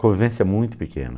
Convivência muito pequena.